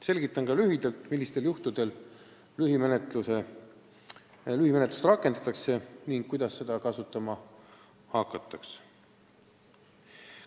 Selgitan ka lühidalt, millistel juhtudel lühimenetlust rakendatakse ning kuidas seda tegema hakatakse.